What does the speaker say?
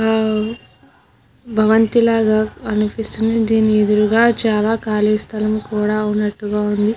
ఆ భవంతి లాగా అనిపిస్తుంది దీని ఎదురుగా చాలా ఖాళీ స్థలం కూడా ఉన్నట్టుగా ఉంది.